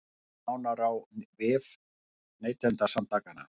Sjá nánar á vef Neytendasamtakanna